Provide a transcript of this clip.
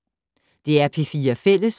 DR P4 Fælles